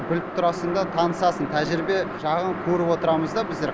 біліп тұрасың да танысасың тәжірибе жағын көріп отырамыз да біздер